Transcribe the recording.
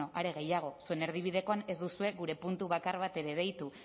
are gehiago zuen erdibidekoan ez duzue gure puntu bakar bat ere gehitu